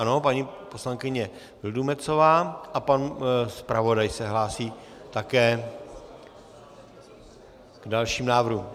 Ano, paní poslankyně Vildumetzová a pan zpravodaj se hlásí také k dalšímu návrhu.